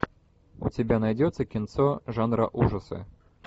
у тебя найдется кинцо жанра ужасы